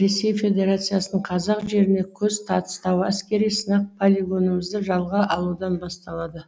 ресей федерациясының қазақ жеріне көз тастауы әскери сынақ полигонымызды жалға алудан басталады